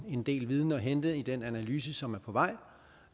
en del viden at hente i den analyse som er på vej